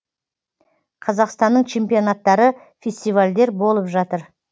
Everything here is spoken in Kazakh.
қазақстанның чемпионттары фестивальдер болып жатыр